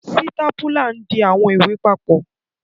Sitapula ń di awọn iwe papọ.